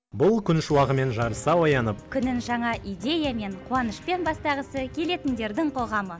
бұл күн шуағымен жарыса оянып күнін жаңа идеямен қуанышпен бастағысы келетіндердің қоғамы